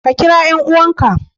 Ka kira 'yan'uwanka.